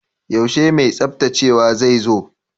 Yaushe mai tsaftacewa zai zo?